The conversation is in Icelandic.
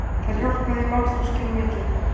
Þar hjálpaði málþroskinn mikið.